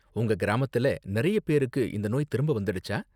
உங்க கிராமத்துல நிறைய பேருக்கு இந்த நோய் திரும்ப வந்திடுச்சா?